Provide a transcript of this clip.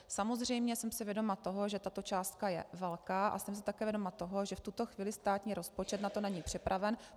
Samozřejmě jsem si vědoma toho, že tato částka je velká, a jsem si také vědoma toho, že v tuto chvíli státní rozpočet na to není připraven.